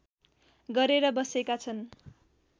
गरेर बसेका छन्